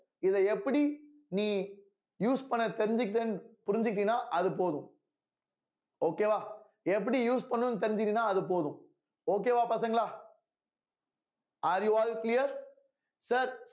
இத எப்படி நீ use பண்ண தெரிஞ்சுக்கிட்டேன்னு புரிஞ்சுகிட்டேன்னா அது போதும் okay வா எப்படி use பண்ணணும்னு தெரிஞ்சீங்கன்னா அது போதும் okay வா பசங்களா are you all clear sir